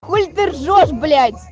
хули ты ржёшь блядь